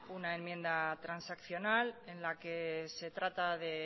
una enmienda transaccional en la que se trata de